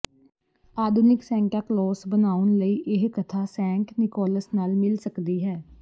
ਆਧੁਨਿਕ Santa Claus ਬਣਾਉਣ ਲਈ ਇਹ ਕਥਾ ਸੈਂਟ ਨਿਕੋਲਸ ਨਾਲ ਮਿਲ ਸਕਦੀ ਹੈ